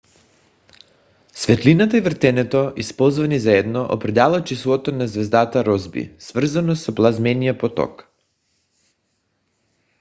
светлината и въртенето използвани заедно определят числото на звездата росби свързано с плазмения поток